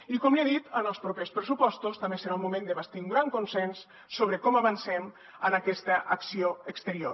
i com li he dit en els propers pressupostos també serà un moment de bastir un gran consens sobre com avancem en aquesta acció exterior